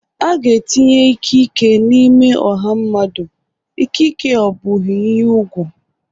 A ga-etinye ikike n'ime ọha mmadụ, ikike ọ bụghị ihe ùgwù.